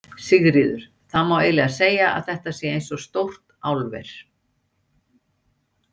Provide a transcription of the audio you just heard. Sigríður: Það má eiginlega segja að þetta sé eins og stórt álver?